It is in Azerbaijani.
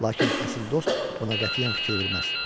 Lakin əsl dost buna qətiyyən fikir verməz.